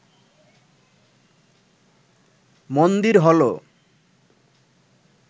মন্দির হল